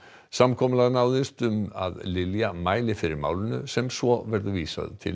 samkomulag náðist um að Lilja mæli fyrir málinu sem svo verður vísað til